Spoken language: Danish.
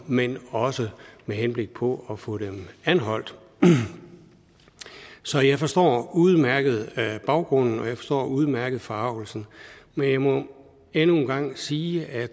men også med henblik på at få dem anholdt så jeg forstår udmærket baggrunden og jeg forstår udmærket forargelsen men jeg må endnu en gang sige at